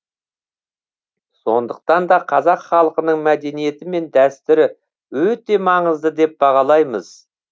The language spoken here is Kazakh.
сондықтан да қазақ халқының мәдениеті мен дәстүрі өте маңызды деп бағалаймыз